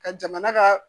Ka jamana ka